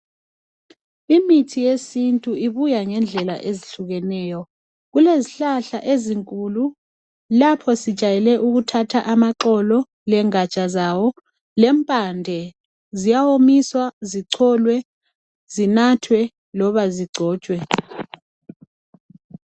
Imithi yesintu ibuya ngendlela ezihlukeneyo. Kulezihlahla ezinkulu. Lapho sijayele ukuthatha , amaxolo lengaja zawo, lempande. Ziyawomiswa, zicholwe. Zinathwe loba zigcotshwe.